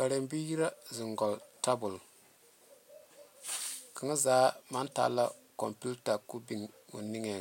Balaŋe biiri la zeŋe koŋ tabole kaŋ zaa meŋ taa la o kompetaa ka o big o niŋe